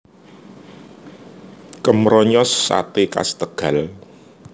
Kemronyos Sate khas Tegal